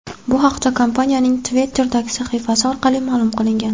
Bu haqda kompaniyaning Twitter’dagi sahifasi orqali ma’lum qilingan .